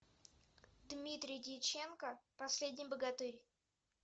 дмитрий дьяченко последний богатырь